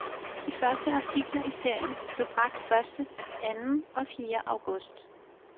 De første artikler i serien blev bragt første, anden og fjerde august.